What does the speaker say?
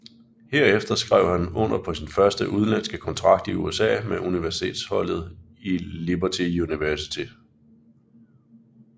Herefter skrev han under på sin første udlandske kontrakt i USA med universitetsholdet Liberty University